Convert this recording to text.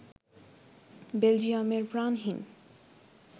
বেলজিয়ামের প্রাণহীন